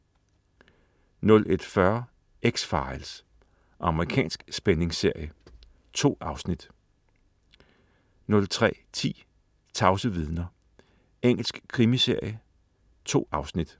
01.40 X-Files.* Amerikansk spændingsserie. 2 afsnit 03.10 Tavse vidner. Engelsk krimiserie. 2 afsnit